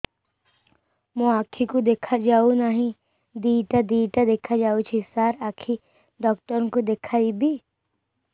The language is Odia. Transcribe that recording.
ମୋ ଆଖିକୁ ଦେଖା ଯାଉ ନାହିଁ ଦିଇଟା ଦିଇଟା ଦେଖା ଯାଉଛି ସାର୍ ଆଖି ଡକ୍ଟର କୁ ଦେଖାଇବି